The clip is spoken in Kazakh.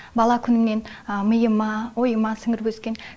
бала күнімнен миыма ойыма сіңіріп өскен